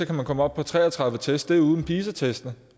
kan man komme op på tre og tredive test og det er uden pisa test